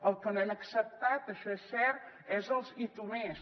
el que no hem acceptat això és cert és els i tu més